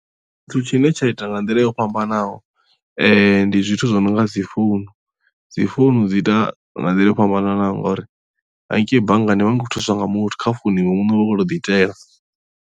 Thithu tshine tsha ita nga nḓila yo fhambanaho ndi zwithu zwi no nga dzi founu dzi founu dzi ita nga nḓila yo fhambananaho ngauri haningei banngani u vha u khou thuswa nga muthu kha founu iwe muṋe u khou tou ḓiitela.